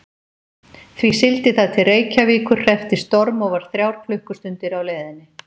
Því sigldi það til Reykjavíkur, hreppti storm og var þrjár klukkustundir á leiðinni.